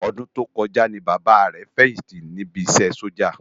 Òdún tókòjá ni Baba rè fèyinti nisè Sójá